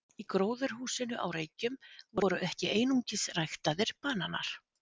Í gróðurhúsinu á Reykjum voru ekki einungis ræktaðir bananar.